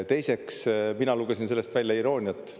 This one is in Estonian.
Teiseks, mina lugesin sellest välja irooniat.